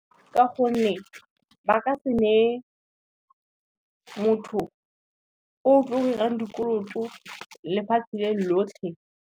Ka gonne, ba ka se nee motho o tlo 'irang dikoloto lefatshe le lotlhe.